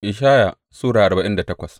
Ishaya Sura arba'in da takwas